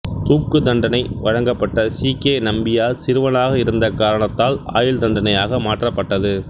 தூக்கு தண்டனை வழங்கப்பட்ட சி கே நம்பியார் சிறுவனாக இருந்த காரணத்தால் ஆயுள் தண்டனையாக மாற்றப்பட்டது